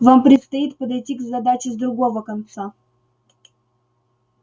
вам предстоит подойти к задаче с другого конца